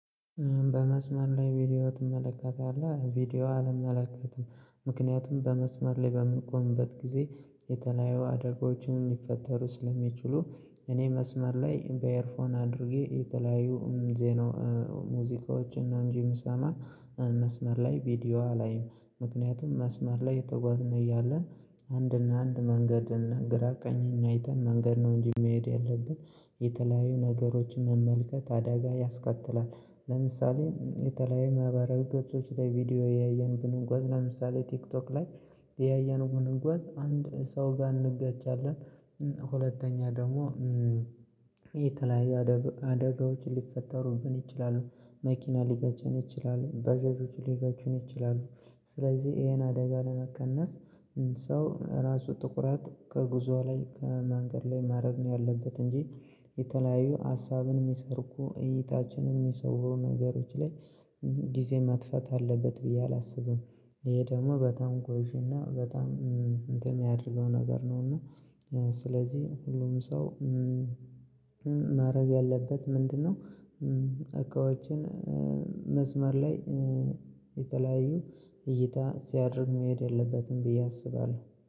በመስመር ላይ ቪዲዮ ትመለከታለህ? ቪዲዮ አልመለከትም ምክንያቱም በመስመር ላይ በምንቆምበት ጊዜ የተለያዩ አደጋዎችን ሊፈጠሩ ስለሚችሉ እኔ መስመር ላይ በኤርፎን አድርጌ የተለያዩ ዜና ሙዚቃዎችን ነው እንጂ የምሰማ መስመር ላይ ቪዲዮ አላይም ምክንያቱም መስመር ላይ እየተጓዝን እያለን አንድ እና አንድ መንገድን ግራ ቀኝ አይተን መንገድ ነው እንጂ መሄድ ያለብን የተለያዩ ነገሮችን መመልከት አደጋ ያስከትላል ለምሳሌ የተለያዩ ማህበራዊ ገጾች ላይ ቪዲዮ እያየን ብንጓዝ ለምሳሌ ቲክቶክ ላይ ያየን ብንጓዝ አንድ ሰው ጋር እንገቻለን ሁለተኛ ደግሞ የተለያዩ አደጋዎችን ሊፈጠሩብን ይችላሉ መኪና ሊገጨን ይችላሉ ባጃጆች ሊገጩን ይችላሉ ስለዚህ ይሄን አደጋ ለመቀነስ ሰው ራሱ ትኩረትት ከጉዞ ላይ ከመንገድ ላይ ማድረግ ነው ያለበት እንጂ የተለያዩ ሀሳብን የሚሰርቁ እይታችንን የሚሰውሩ ነገሮች ላይ ጊዜ መጥፋት አለበት ብዬ አላስብም ይሄ ደግሞ በጣም ጎጂ እና በጣም እንትን የሚያደርገው ነገር ነው እና ስለዚህ ሁሉም ሰው ማድረግ ያለበት ምንድነው እቃዎችን መስመር ላይ የተለያዩ እይታ ሲያድርም መሄድ የለበትም ብዬ አስባለሁ